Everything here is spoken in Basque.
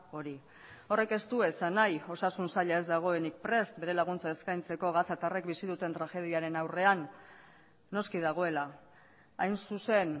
hori horrek ez du esan nahi osasun saila ez dagoenik prest bere laguntza eskaintzeko gazatarrek bizi duten tragediaren aurrean noski dagoela hain zuzen